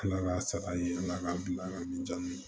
Ala ka saga ye ala k'an bila min na